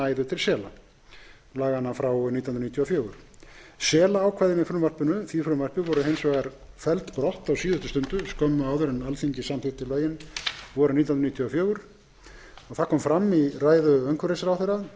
að lögin næðu til sela laganna frá nítján hundruð níutíu og fjögur selaákvæðin í frumvarpinu voru hins vegar felld brott á síðustu stundu skömmu áður en alþingi samþykkti lögin vorið nítján hundruð níutíu og fjögur fram kom í ræðu umhverfisráðherra